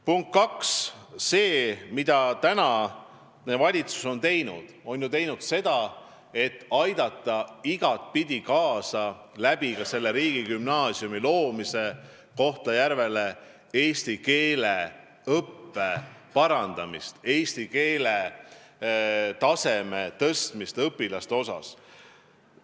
Punkt kaks: praegune valitsus on ju teinud seda, et aidata riigigümnaasiumi loomisel Kohtla-Järvel kaasa eesti keele õppe parandamisele, eesti keele taseme tõstmisele õpilaste seas.